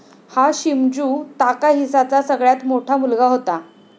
हा शिमझू ताकाहीसाचा सगळ्यात मोठा मुलगा होता.